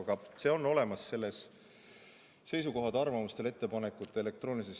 Aga see on elektroonilise side seaduse ja ehitusseadustiku seisukohtade, arvamuste ja ettepanekute all olemas.